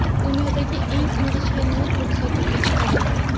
Dunyodagi eng ingichka noutbuk sotuvga chiqarildi.